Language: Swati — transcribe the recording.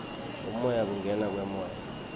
umoya kungena kwemoya